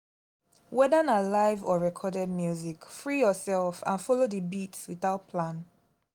whether na live or recorded music free yourself and follow di beats without plan